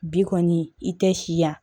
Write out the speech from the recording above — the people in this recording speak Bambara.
Bi kɔni i tɛ siya